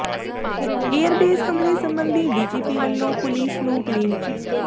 airbase ਹਮਲੇ ਸਬੰਧੀ DGP ਵੱਲੋਂ ਪੁਲੀਸ ਨੂੰ ਕਲੀਨ ਚਿੱਟ